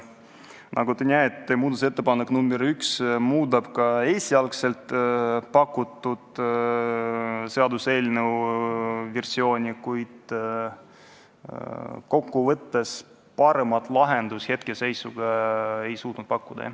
Nagu näete, muudatusettepanek nr 1 muudab esialgselt pakutud seaduseelnõu versiooni, kuid kokkuvõttes paremat lahendust me hetkel ei suutnud pakkuda.